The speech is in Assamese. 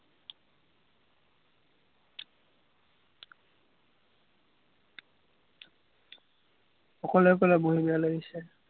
অকলে অকলে বহী বেয়া লাগিছে।